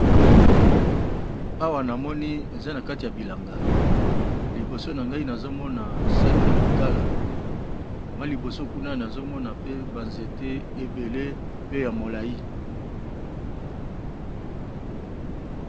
Awa na moni eza na kati ya bilanga liboso na ngai nazomona sak ya makala mwa liboso kuna nazomona pe banzete ebele pe ya molai.